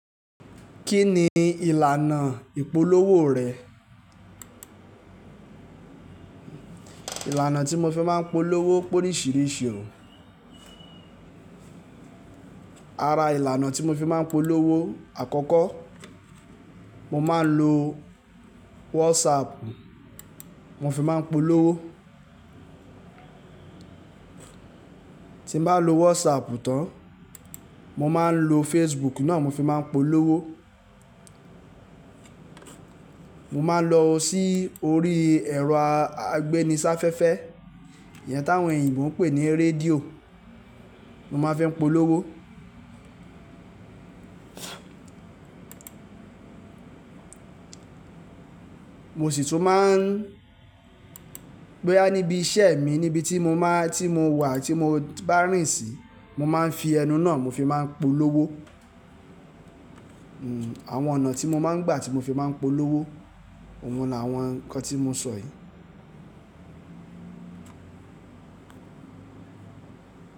Kí ni ìlànà ìpolówó rẹ̀? Ìlànà tí mo fi máa ń polówó pé oríṣìíríṣìí o. Ara ìlànà tí mo fi máa ń polówó àkọ́kọ́, mo máa ń lo WhatsApp, mo fi máa ń polówó. Tí mo bá lo WhatsApp tán, mo máa ń lo Facebook náà, mo fi máa ń polówó. Mo máa ń lọ sí orí ẹ̀rọ agbéniṣáfẹ́fẹ́, ìyẹn táwọn èyìǹbó ń pè ní rédíò, mo máa fi polówó. Mo sì tún máa ń, bóyá níbi iṣẹ́ mi, níbi tí mo máa, tí mo wà tí mo bá rìnsìń, mo máa ń fi ẹnu náà mo fi máa ń polówó. Àwọn ọ̀nà tí mo máa ń gbà tí mo fi máa ń polówó, òun ni àwọn ǹkan tí mo sọ yìí.